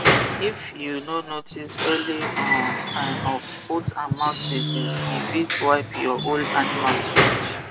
if you no notice early um sign of footandmouth disease e fit wipe your whole animals finish